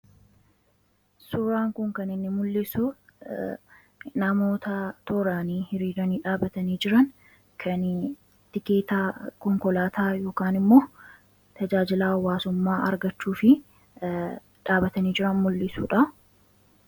Suuraa kanaa gadii irratti kan argamu namoota hiriiranii konkolaataa eeggataa jiran kan mul'isuu dha.